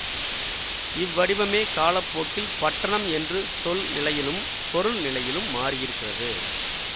இவ்வடிவமே காலப்போக்கில் பட்டணம் என்று சொல் நிலையிலும் பொருள் நிலையிலும் மாறியிருக்கிறது